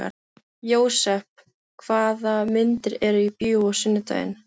Jósep, hvaða myndir eru í bíó á sunnudaginn?